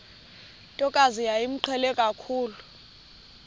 ntokazi yayimqhele kakhulu